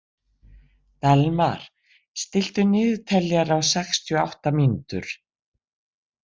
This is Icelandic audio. Dalmar, stilltu niðurteljara á sextíu og átta mínútur.